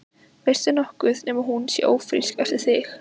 Veistu nokkuð nema hún sé ófrísk eftir þig?